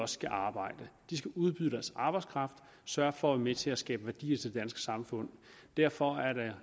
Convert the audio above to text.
skal arbejde de skal udbyde deres arbejdskraft sørge for at være med til at skabe værdi til det danske samfund derfor er der